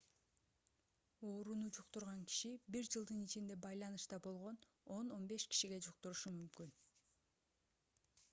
ооруну жуктурган киши бир жылдын ичинде байланышта болгон 10-15 кишиге жуктурушу мүмкүн